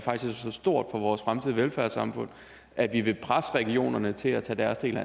så stort for vores fremtidige velfærdssamfund at vi vil presse regionerne til at tage deres del